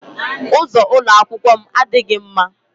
Ụzọ ụlọ akwụkwọ m adịghị mma.